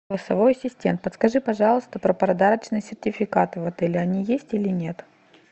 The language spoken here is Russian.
голосовой ассистент подскажи пожалуйста про подарочные сертификаты в отеле они есть или нет